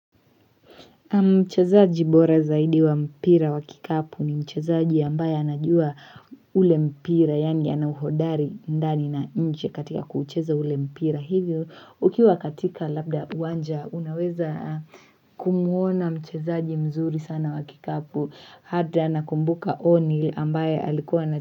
Mchazaji bora zaidi wa mpira wa kikapu ni mchezaji ambaye anajua ule mpira yaani ana uhodari ndani na nje katika kuucheza ule mpira hivyo ukiwa katika labda uwanja unaweza kumuona mchezaji mzuri sana wa kikapu hata anakumbuka oni ambaye alikuwa na.